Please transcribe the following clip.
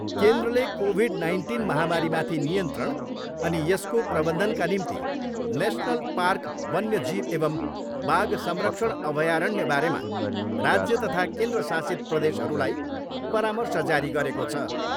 केन्द्रले covid nineteen महामारीमाथि नियन्त्रण अनि यसको प्रबन्धनका निम्ति नेसनल पार्क वन्य जीव एवम् बाघ संरक्षण अभयारण्य बारेमा राज्य तथा केन्द्रशासित प्रदेशहरूलाई परार्मश जारी गरेको छ।